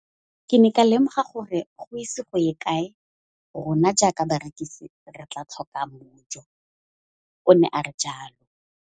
Ke ne ka lemoga gore go ise go ye kae rona jaaka barekise re tla tlhoka mojo, o ne a re jalo.